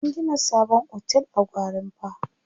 An gina sabon otel a Gwarinpa.